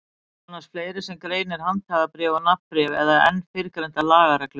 Það er annars fleira sem greinir handhafabréf og nafnbréf að en fyrrgreindar lagareglur.